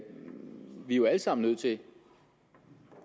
jo alle sammen nødt til